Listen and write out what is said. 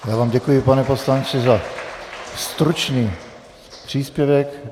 Já vám děkuji, pane poslanče, za stručný příspěvek.